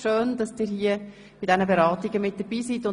Schön, dass Sie bei diesen Beratungen dabei sind.